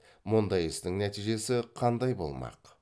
мұндай істің нәтижесі қандай болмақ